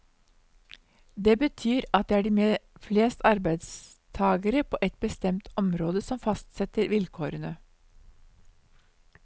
Det betyr at det er de med flest arbeidstagere på ett bestemt område som fastsetter vilkårene.